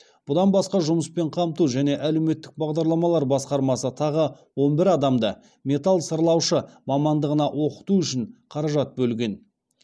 бұдан басқа жұмыспен қамту және әлеуметтік бағдарламалар басқармасы тағы он бір адамды металл сырлаушы мамандығына оқыту үшін қаражат бөлген